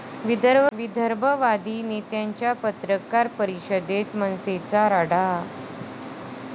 विदर्भवादी नेत्यांच्या पत्रकार परिषदेत मनसेचा राडा